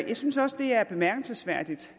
jeg synes også det er bemærkelsesværdigt